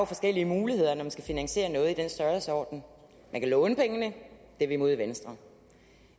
forskellige muligheder når man skal finansiere noget i den størrelsesorden man kan låne pengene det er vi imod i venstre